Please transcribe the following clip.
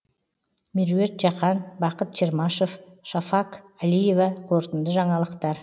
меруерт жақан бақыт чермашев шафаг алиева қорытынды жаңалықтар